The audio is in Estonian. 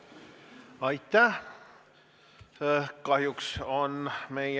Aitäh!